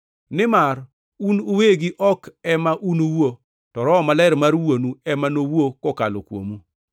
nimar un uwegi ok ema unuwuo, to Roho Maler mar Wuonu ema nowuo kokalo kuomu.